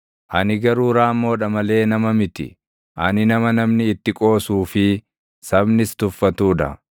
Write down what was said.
Ani garuu raammoodha malee nama miti; ani nama namni itti qoosuu fi sabnis tuffatuu dha.